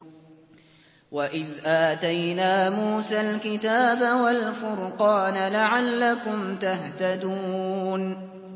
وَإِذْ آتَيْنَا مُوسَى الْكِتَابَ وَالْفُرْقَانَ لَعَلَّكُمْ تَهْتَدُونَ